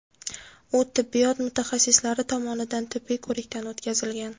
U tibbiyot mutaxassislari tomonidan tibbiy ko‘rikdan o‘tkazilgan.